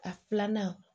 A filanan